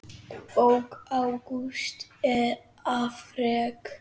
Bók Ágústs er afrek.